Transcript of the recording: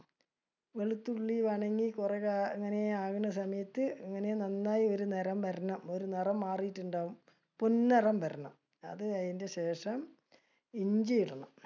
വെളുത്തുള്ളി കുറെ അങ്ങനെ ആവുന്ന സമയത്ത് ഇങ്ങനെ നന്നായി ഒരു നിറം വരണം. ഒരു നിറം മാറിയിട്ടുണ്ടാവും. പൊൻ നിറം വരണം. അത് കഴിഞ്ഞു ശേഷം, ഇഞ്ചി ഇടണം.